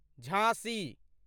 झाँसी